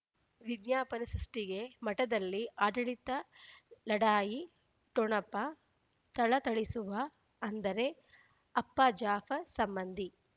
ವಿಜ್ಞಾಪನೆ ಸೃಷ್ಟಿಗೆ ಮಠದಲ್ಲಿ ಆಡಳಿತ ಲಢಾಯಿ ಠೊಣಪ ಥಳಥಳಿಸುವ ಅಂದರೆ ಅಪ್ಪ ಜಾಫರ್ ಸಂಬಂಧಿ